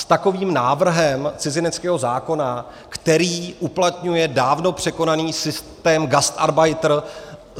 S takovým návrhem cizineckého zákona, který uplatňuje dávno překonaný systém gastarbeiter.